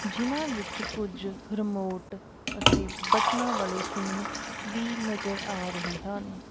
ਜਿਨਾਂ ਵਿੱਚ ਕੁਝ ਰਿਮੋਟ ਅਤੇ ਬਟਨਾਂ ਵਾਲੇ ਫੋਨ ਵੀ ਨਜ਼ਰ ਆ ਰਹੇ ਹਨ।